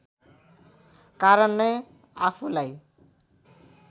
कारण नै आफूलाई